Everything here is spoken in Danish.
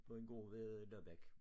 På en gård ved øh Nørbæk